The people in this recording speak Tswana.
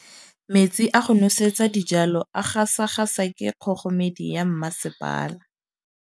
Metsi a go nosetsa dijalo a gasa gasa ke kgogomedi ya masepala.